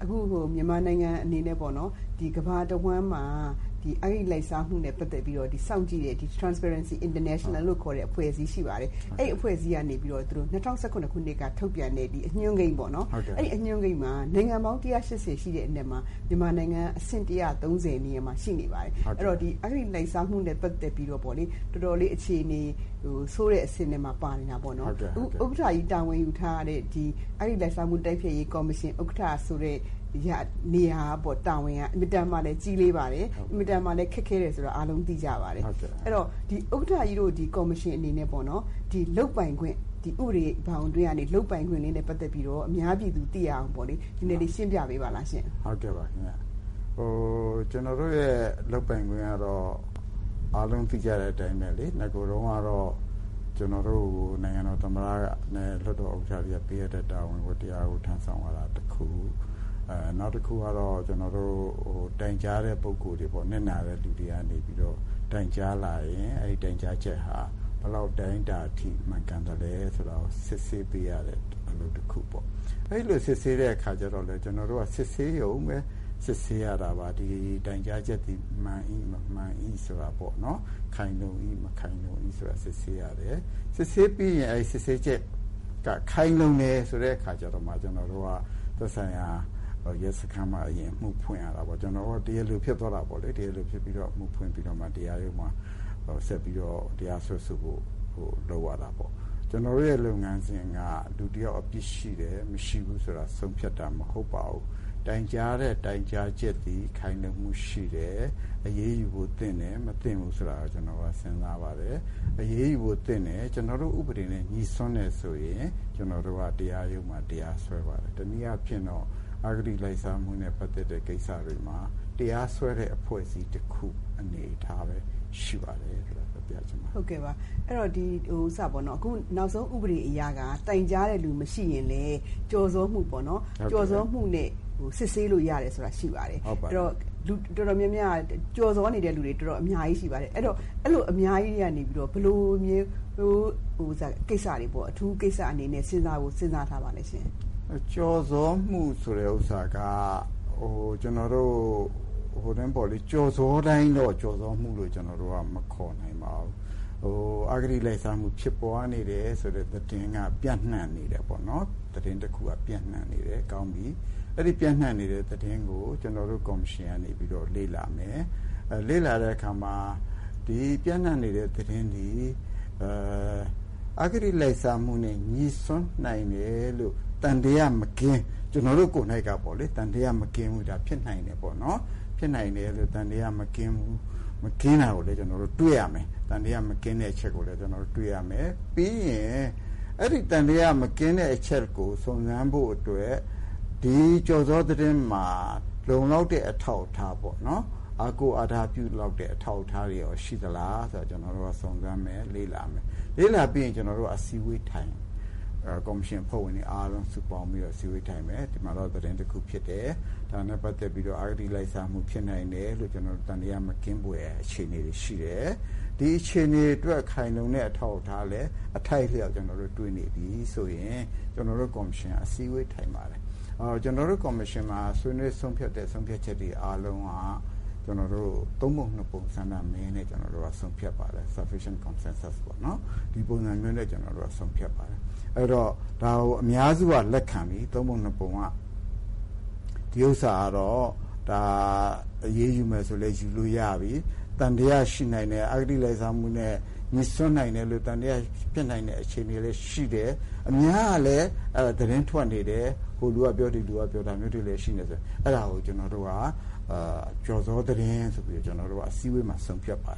။ အခုမြန်မာနိုင်ငံအနေနဲ့ပေါ့နော် ကမ္ဘာတဝှမ်းမှာ အဂတိလိုက်စားမှုနဲ့ ပတ်သက်ပြီးတော့ စောင့်ကြည့်တဲ့ international transparency လို့ခေါ်တဲ့ အဖွဲ့အစည်းရှိပါတယ်။ အဲဒီအဖွဲ့အစည်းကနေပြီးတော့ ၂၀၁၇ မှာ ထုတ်ပြန်တဲ့ အညွန်းကိန်းပေါ့နော်အဲဒီမှာ နိုင်ငံပေါင်း ၁၈၀ ရှိတဲ့ အနက်မှာ မြန်မာနိုင်ငံအနေနဲ့အဆင့် ၁၃၀ နေရာမှာရှိနေပါတယ် အဲဒီတော့ အဂတိလိုက်စားမှုနဲ့ ပတ်သက်ပြီးတော့ တော်တော်ဆိုးတဲ့အခြေအနေမှာ ရှိနေပါတယ်။ ဥက္ကဋ္ဌကြီး တာဝန်ယူထားတဲ့ အဂတိလိုက်စားမှုတိုက်ဖျက်ရေးကော်မရှင် ဥက္ကဌဆိုတဲ့ တာဝန်က အင်မတန်မှ ကြီးလေးပါတယ်။ အင်မတန်မှ ခက်ခဲတယ်ဆိုတာ အားလုံးသိကြပါတယ်။ အဲဒီတော့ ဥက္ကဋ္ဌကြီးတို့ကော်မရှင်အနေနဲ့ပေါ့နော် ဥပဒေဘောင်အတွင်းကနေ လုပ်ပိုင်ခွင်နဲ့ ပတ်သက်ပြီး အများပြည်သူသိအောင် ရှင်းပြပေးပါလားရှင့်။ ဦးအောင်ကြည်။ ။ ကျနော်တို့လုပ်ပိုင်ခွင့်ကတော့ အားလုံးသိကြတဲ့အတိုင်းပဲ နဂိုတုန်းကတော့ ကျနော်တို့ကို နိုင်ငံတော်သမ္မတနဲ့ လွှတ်တော်ဥက္ကဋ္ဌတွေက ပေးအပ်တဲ့ တာဝန်ဝတ္တရားတွေကို ထမ်းဆောင်ရတာတခု ၊ နောက်တခုကတော့ တိုင်ကြားတဲ့လူတွေ နစ်နာတဲ့လူတွေကနေပြီးတော့ တိုင်ကြားလာရင် အဲဒီတိုင်ကြားချက်ဟာ ဘယ်လောက်အတိုင်းအတာအထိမှန်သလဲဆိုတာ စစ်ဆေးပေးရတဲ့ အလုပ်တခု ။ အဲလိုစစ်ဆေးတဲ့အခါကျတော့ ကျနော်တို့က စစ်ဆေးရုံပဲ စစ်ဆေးရတာပါ။ ဒီတိုင်ကြားချက်က မှန်၏၊ မမှန်၏ ဆိုတာပေါ့နော် ခိုင်လုံ၏၊ မခိုင်လုံ၏ ဆိုတာပေါ့နော် စစ်ဆေးရတယ်။ စစ်ဆေးပြီးရင် စစ်ဆေးချက် ခိုင်လုံတယ်ဆိုတဲ့အခါ သက်ဆိုင်ရာ ရဲစခန်းမှာ အမှုဖွင့်ရတာပေါ့နော် ကျနေ်ာတို့ တရားလိုဖြစ်သွားတာပေါ့ ပြီးတော့ အမှုဖွင့်ပြီးတော့မှ တရားရုံးမှာဆက်ပြီးတော့ တရားစွဲဆိုဖို့ လုပ်ရတာပေါ့။ ကျနော်တို့ရဲ့ လုပ်ငန်းစဉ်က ရှိတယ် မရှိဘူးဆိုတာ ဆုံးဖြတ်တာမဟုတ်ပါဘူး။ တိုင်ကြားတဲ့ တိုက်ကြားချက်သည် ခိုင်လုံမှုရှိတယ် အရေးယူဖို့ သင့်တယ်၊ မသင့်ဘူးဆိုတာ ကျနော်က စဉ်းစားပါတယ်။ အရေးယူဖို့ သင့်တယ် ကျနော်တို့ ဥပဒေနဲ့ ညှိစွန်းတယ်ဆိုရင် တရားရုံးမှာဆက်ပြီးတော့ တရားစွဲဆိုပါတယ်။ တနည်းအားဖြင့်တော့ အဂတိလိုက်စားမှုနဲ့ ပတ်သက်တဲ့ကိစ္စတွေမှာ တရားစွဲတဲ့အဖွဲ့အစည်းတခုအနေအထားပဲရှိပါတယ် ဆိုတာပြောချင်ပါတယ်။ ဒေါ်ခင်စိုးဝင်း။ ။ နောက်ဆုံးဥပဒေအရက တိုင်ကြားတဲ့လူမရှိရင်လည်း ကျော်စော်မှုပေါ့နော် ။ ကျော်စော်မှုနဲ့ စစ်ဆေးလို့ရတာတွေရှိပါတယ်။ လူတော်တော်များများက ကျော်စော်နေတဲ့ လူတွေအများကြီးရှိပါတယ် အဲဒီတော့ အဲလို အများကြီးကနေပြီးတော့ ဘယ်လိုမျိုးကိစ္စတွေကို အထူးကိစ္စအနေနဲ့ စဉ်းစားထားပါသလဲရှင့်။ ဦးအောင်ကြည်။ ။ ကျော်စော်မှုဆိုတာက ကျော်စော်တိုင်းတော့ ကျော်စော်မှုလို့မခေါ်နိုင်ပါဘူး။ အဂတိလိုက်စားမှု ဖြစ်ပေါ်တယ်ဆိုတဲ့ သတင်းက ပြန့်နှံ့နေတယ်ပေါ့နော် ။ အဲဒီ သတင်းကို ကျနော်တို့ ကော်မရှင်ကနေပြီးတော့ လေ့လာမယ် ။ ဒီပြန့်နှံ့နေတဲ့ သတင်းသည် အဂတိလိုက်စားမှုနဲ့ ညှိစွန်းနိုင်တယ်လို့ ကျနော်တို့ ကိုယ်တိုင်ပေါ့လေ သံသယမကင်းဘူးပေါ့လေ ၊ ဖြစ်နိုင်တယ်လို့ ကျနော်တို့တွေ့ရမယ်။ အဲဒီ သံသယမကင်းတဲ့အချက်ကို စုံစမ်းဖို့အတွက် ဒီကျော်စော်သတင်းမှာ လုံလောက်တဲ့ အထောက်အထားပေါ့နော် အားကိုးအားထားပြုလောက်တဲ့ အထောက်အထားတွေရောရှိသလားဆိုတာ ကျနော်တို့က စုံစမ်းမယ် လေ့လာမယ်။ ပြီးရင် ကျနော်တို့က အစည်းအဝေးထိုင်မယ်။ ကော်မရှင်အဖွဲ့ဝင်တွေအားလုံးစုပေါင်းပြီးတော့ အစည်းအဝေးထိုင်မယ်။ ဒီမှာတော့ သတင်းတခုဖြစ်တယ်၊ ဒါနဲ့ ပတ်သက်ပြီးတော့ အဂတိလိုက်စားမှု ဖြစ်နိုင်တယ် ဆိုတဲ့ သံသယမကင်းတဲ့အခြေအနေရှိတယ်။ ဒီအတွက် ခိုင်လုံတဲ့အထောက်အထားလည်း အထိုက်အလျောက်တွေ့နေပြီဆိုရင် ကော်မရှင်က အစည်းအဝေးထိုင်ပါတယ်။ ကျနော်တို့ ကော်မရှင်မှာ ဆွေးနွေးဆုံးဖြတ်တဲ့ ဆုံးဖြတ်ချက်တွေအားလုံး ကျနော်တို့ ဆုံးဖြတ်ပါတယ်။ ဒါကို အများစုက လက်ခံပြီ ၃ ပုံ ၂ပုံက ဒီဟာကတော့ အရေးယူမယ်ဆိုရင်လည်း ယူလို့ရပြီ အဂတိလိုက်စားမှု သံသယမကင်း ဖြစ်နိုင်တယ်ဆိုတဲ့အခြေအနေလည်း ရှိတယ်။ အများကလည်း သတင်းထွက်နေတယ် ဟိုလူကပြော ဒီလူကပြော ဒါတွေလည်းရှိတယ်ဆိုရင် အဲဒါကို ကျနော်တို့က ကျော်စော်သတင်းဆိုပြီး အစည်းအဝေးမှာ ၃ ပုံ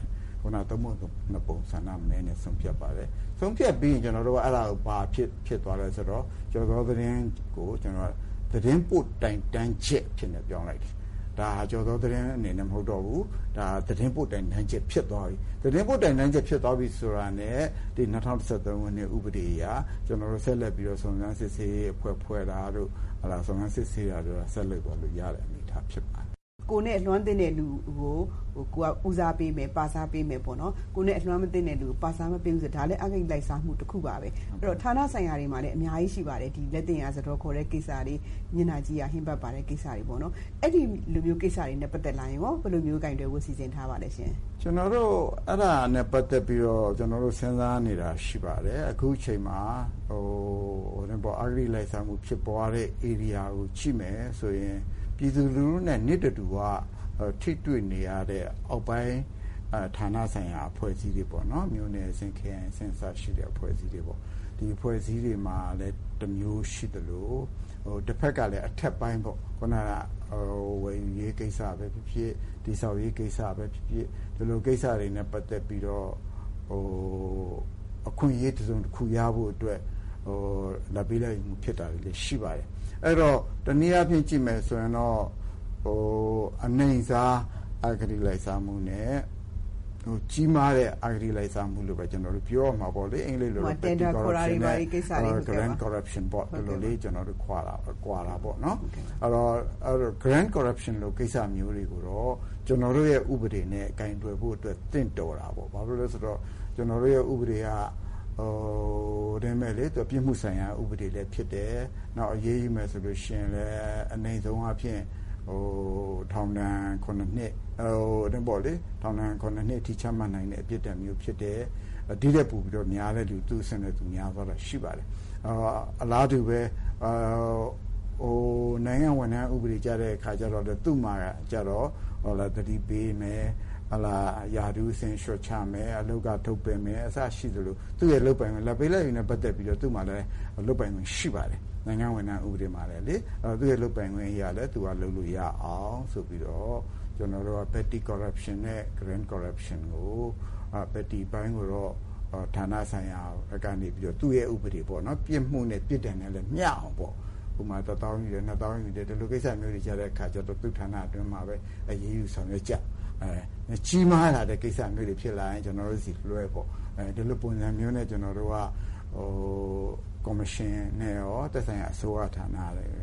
၂ပုံ ဆန္ဒမဲနဲ့ ဆုံးဖြတ်ပါတယ်။ ဆုံးဖြတ်ပြီးရင် ဘာဖြစ်သွားသလဲဆိုတော့ ကျော်စော်သတင်းကို သတင်းပို့တိုင်တန်းချက်အဖြစ်နဲ့ ပြောင်းလိုက်တယ်။ ဒါက ကျော်စော်သတင်းအနေနဲ့မဟုတ်တော့ဘူး သတင်းပို့တိုင်တန်းချက်ဖြစ်သွားပြီ ။ သတင်းပို့တိုင်တန်းချက်ဖြစ်သွားပြီဆိုရင် ၂၀၁၃ ဥပဒေအရ ကျနော်တို့ ဆက်လက်ပြီးတော့ စုံစမ်းစစ်ဆေးရေးအဖွဲ့ဖွဲ့တာတို့ စုံစမ်းစစ်ဆေးတာတို့ ဆက်လုပ်သွားတဲ့အနေအထားဖြစ်သွားပါတယ်။ ဒေါ်ခင်စိုးဝင်း။ ။ ကိုယ်နဲ့ သင့်တဲ့လူကို ဦးစားပေးမယ်၊ ပစားပေးမယ် ။ ကိုယ်နဲ့ မသင့်တဲ့လူကို ပစားမပေးဘူး ဆိုတာကလည်း အဂတိလိုက်စားမှုတခုပါပဲ ။ အဲဒီတော့ ဌာနဆိုင်ရာတွေမှာလည်း အများကြီးရှိပါတယ် မျက်နှာကြီးရာဟင်းဖတ်ပါတဲ့ကိစ္စတွေ ၊ အဲဒါမျိုးနဲ့ပတ်သက်လာရင် ဘယ်လိုမျိုး ကိုင်တွယ်ဖို့ စီစဉ်ထားပါသလဲရှင့်။ ဦးအောင်ကြည်။ ။ ကျနော်တို့ အဲဒါနဲ့ ပတ်သက်ပြီးတော့ စဉ်းစားနေတာရှိပါတယ်။ အခုအချိန်မှာ အဂတိလိုက်စားမှုဖြစ်ပွားတဲ့ ဧရိယာကိုကြည့်မယ်ဆိုရင် ပြည်သူနဲ့ နေ့တဓူ၀ ထိတွေ့နေရတဲ့ အောက်ပိုင်းဌာနဆိုင်ရာအဖွဲ့အစည်းတွေပေါ့နော် မြို့နယ်အဆင့်၊ ခရိုင်အဆင့် စတဲ့အဖွဲ့အစည်းတွေပေါ့ ဒီအဖွဲ့အစည်းတွေမှာလည်း တမျိုးရှိသလို တဖက်ကလည်း အထက်ပိုင်းပေါ့ ခနက ဝယ်ယူရေးကိစ္စ ၊ တည်ဆောက်ရေးကိစ္စ ပဲဖြစ်ဖြစ်ဒီလိုကိစ္စတွေနဲ့ ပတ်သက်ပြီးတော့ အခွင့်အရေးတစုံတခုရဖို့အတွက် လာဘ်ပေးလာဘ်ယူလုပ်တာတွေလည်းရှိပါတယ်။ အဲဒီတော့ တနည်းအားဖြင့်ကြည့်မယ်ဆိုရင်တော့ အနိမ့်စားအဂတိလိုက်စားမှုနဲ့ ကြီးမားတဲ့ အဂတိလိုက်စားမှုလို့ပဲပြောရမှာပေါ့နော်။ Grand corruption ကိစ္စမျိုးတွေကိုတော့ ကျနော်တို့ဥပဒေနဲ့ ကိုင်တွယ်ဖို့အတွက်ကို သင့်တော်တာပေါ့ ဘာဖြစ်လို့လဲဆိုတော့ ကျနော်တို့ဥပဒေက ပြစ်မှုဆိုင်ရာ ဥပဒေလည်းဖြစ်တယ်။ အရေးယူမယ်ဆိုရင်လည်း အနိမ့်ဆုံးထောင်ဒဏ် ၇ နှစ်အထိ ချနိုင်တဲ့ ပြစ်ဒဏ်မျိုးဖြစ်တယ်။ ဒီထိုက်ပိုပြီးရင်တော့ သူ့အဆင့်နဲ့သူများသွားတာရှိပါတယ်။ အလားတူ နိုင်ငံဝန်ထမ်းဥပဒေကျတဲ့အခါကျတော့ သတိပေးမယ်၊ ရာထူး အဆင့်လျော့ချမယ်၊ အလုပ်က ထုတ်ပယ်မယ် လာဘ်ပေးလာဘ်ယူနဲ့ ပတ်သက်ပြီးတော့ သူ့မှာလည်း လုပ်ပိုင်ခွင့်ရှိပါတယ် နိုင်ငံဝန်ထမ်းဥပဒေမှာ ။သူ့ လုပ်ပိုင်ခွင့်နဲ့ လုပ်လို့ရအောင်ဆိုပြီးတော့ ကျနော်တို့က petty corruption နဲ့ Grand corruption ကို ၊ petty အပိုင်းကိုတော့ ဌာနဆိုင်ရာ သူ့ဥပဒေအတိုင်းပေါ့နော် ပြစ်မှုနဲ့ ပြစ်ဒဏ်နဲ့လည်းမျှအောင်ပေါ့နော် ။ ဥပမာ ၁ သောင်းယူတယ်၊ ၂ သောင်းယူတယ် ဒီလိုကိစ္စမျိုးတွေကျတော့ သူ့ဌာနအတွင်းမှာပဲ အရေးယူဆောင်ရွက်ကြတယ်၊ ကြီးမားလာတဲ့ ကိစ္စ ဖြစ်ရင် ကျနော်တို့ဆီကို လွှဲပေါ့။ ဒီလိုပုံစံနဲ့ ကျနော်တို့က ကော်မရှင် နဲ့ရော သက်ဆိုင်ရာအစိုးရဌာန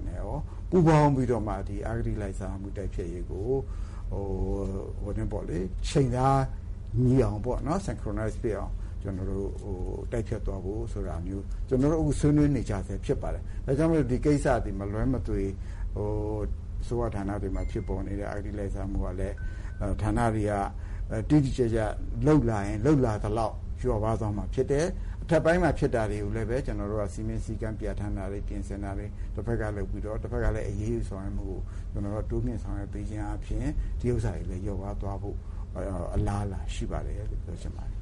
နဲ့ရော ပူးပေါင်းပြီးတော့ အဂတိလိုက်စားမှု တိုက်ဖျက်ရေးကို ချိန်သားညီအောင်ပေါ့နော် ကျနော်တို့အခုဆွေးနွေးနေကြစဲဖြစ်ပါတယ်။ ဒါကြောင့်မို့လို့ ဒီကိစ္စသည် မလွဲသွေ အစိုးရဌာနတွေမှာ ဖြစ်နေတဲ့ အဂတိလိုက်စားမှုတွေကလည်း ဌာနတွေက တိတိကျကျလုပ်လာရင် လုပ်လာသလောက် လျော့ပါးသွားမှာဖြစ်တယ်။ အထက်ပိုင်းမှာ ဖြစ်တာတွေကိုလည်း ကျနော်တို့က စည်းမျဉ်းစည်းကမ်းပြင်ဆင်တာတွေ တဖက်ကလည်း အရေးယူတာတွေ တိုးမြင့်ဆောင်ရွက်ပေးခြင်းအားဖြင့် ဒီဟာတွေ လျော့ပါးသွားဖို့ အလားအလာရှိပါတယ်လို့ ပြောချင်ပါတယ်